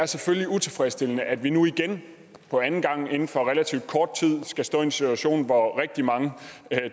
utilfredsstillende at vi nu igen for anden gang inden for relativt kort tid skal stå i en situation hvor rigtig mange